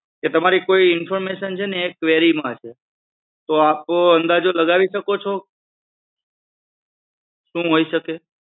તમારી information જે છે ને એ query માં છે આપ અંદાજો લગાવી શકો છો શું હોઈ શકે?